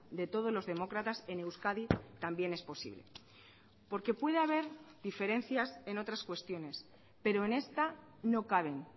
de todos los demócratas en euskadi también es posible porque puede haber diferencias en otras cuestiones pero en esta no caben